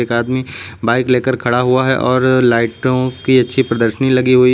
एक आदमी बाइक लेकर खड़ा हुआ है और लाइटों की अच्छी प्रदर्शनी लगी हुई है।